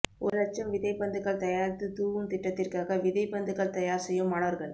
ஒரு லட்சம் விதை பந்துகள் தயாரித்து தூவும் திட்டத்திற்காக விதைபந்துகள் தயார் செய்யும் மாணவர்கள்